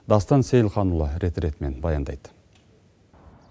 дастан сейілханұлы рет ретімен баяндайды